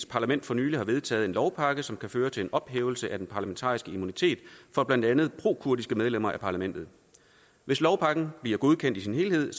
parlament for nylig har vedtaget en lovpakke som kan føre til en ophævelse af den parlamentariske immunitet for blandt andet prokurdiske medlemmer af parlamentet hvis lovpakken bliver godkendt i sin helhed